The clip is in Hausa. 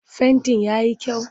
Fentin ya yi kyau?